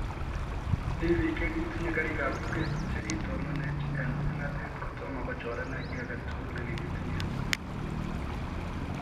Mii biik chekitinyee kariik ab lugeet chekitetononeech eng ong'atet kotoma kochorenech kit age tugul negiikitinyee